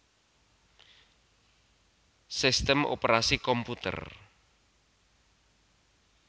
Sistem Operasi komputer